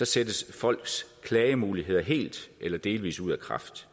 sættes folks klagemuligheder helt eller delvis ud af kraft